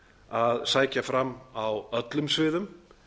að sækja fram á öllum sviðum